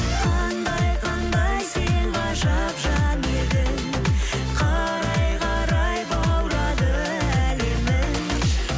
қандай қандай сен ғажап жан едің қарай қарай баурады әлемің